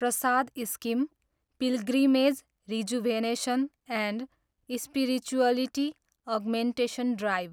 Prasad scheme, pilgrimage rejuvenation and spirituality augmentation drive